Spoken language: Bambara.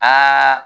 Aa